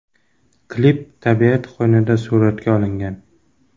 Klip tabiat qo‘ynida suratga olingan.